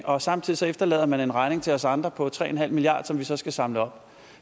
og samtidig efterlader man en regning til os andre på tre milliard kr som vi så skal samle op